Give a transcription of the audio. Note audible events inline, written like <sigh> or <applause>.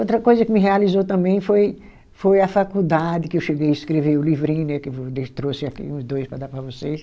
Outra coisa que me realizou também foi foi a faculdade, que eu cheguei escrever o livrinho né, que <unintelligible> eu trouxe aqui uns dois para dar para vocês.